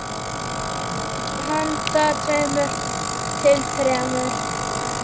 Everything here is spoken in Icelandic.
Handa tveimur til þremur